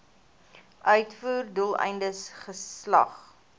uitvoer doeleindes geslag